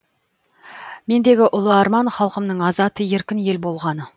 мендегі ұлы арман халқымның азат еркін ел болғаны